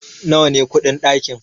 nawa ne kudin dakin?